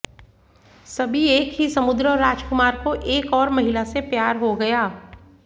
सभी एक ही समुद्र और राजकुमार को एक और महिला से प्यार हो गया